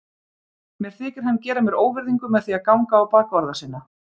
Mér þykir hann gera mér óvirðingu með því að ganga á bak orða sinna.